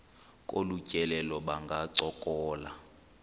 kolu tyelelo bangancokola